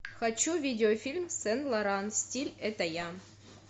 хочу видеофильм сен лоран стиль это я